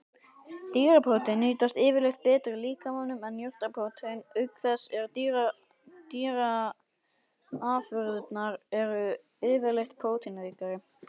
Dýraprótein nýtast yfirleitt betur í líkamanum en jurtaprótein, auk þess sem dýraafurðirnar eru yfirleitt próteinríkari.